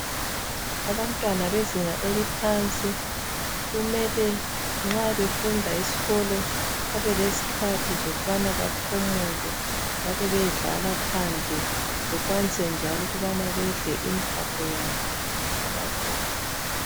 abantwana bezinga eliphansi kumele nxa befunda esikolo babe lezikhathi zokubana baphumule bae bayedlala phandle bekwanise njalo ukubana bedle impako yabo ababuyelayo